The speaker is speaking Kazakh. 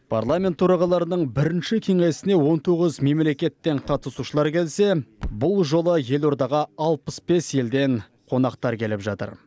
парламент төрағаларының бірінші кеңесіне он тоғыз мемлекеттен қатысушылар келсе бұл жолы елордаға алпыс бес елден қонақтар келіп жатыр